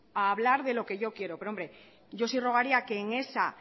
a hablar de lo que yo quiero pero hombre yo sí rogaría que en esa